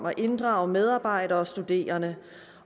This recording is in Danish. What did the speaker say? at inddrage medarbejdere og studerende